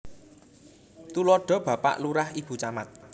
Tuladha Bapak Lurah Ibu Camat